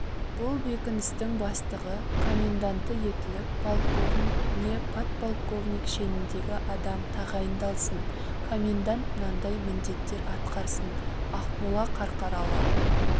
бұл бекіністің бастығы-коменданты етіліп полковник не подполковник шеніндегі адам тағайындалсын комендант мынандай міндеттер атқарсын ақмола қарқаралы